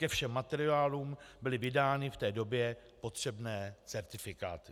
Ke všem materiálům byly vydány v té době potřebné certifikáty.